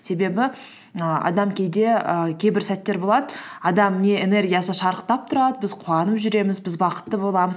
себебі і адам кейде і кейбір сәттер болады адам не энергиясы шарықтап тұрады біз қуанып жүреміз біз бақытты боламыз